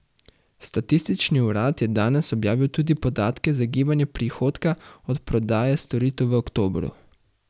Statistični urad je danes objavil tudi podatke za gibanje prihodka od prodaje storitev v oktobru.